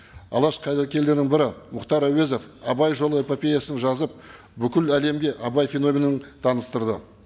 алаш қайраткерлерінің бірі мұхтар әуезов абай жолы эпопеясын жазып бүкіл әлемге абай феноменің таныстырды